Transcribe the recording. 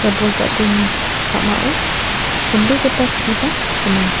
ia bol ja·dilni ka·mao chonbegipa chiba gnang.